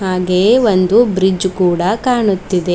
ಹಾಗೆ ಒಂದು ಬ್ರಿಡ್ಜ್ ಕೂಡ ಕಾಣುತ್ತಿದೆ.